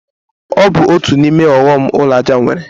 Ọ bụ otu n'ime ọghọm ụlọ aja nwere.